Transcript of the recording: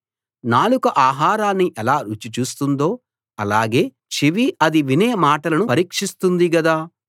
నాలుక ఆహారాన్ని ఎలా రుచి చూస్తుందో అలాగే చెవి అది వినే మాటలను పరీక్షిస్తుంది గదా